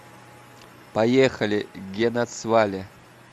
поехали генацвале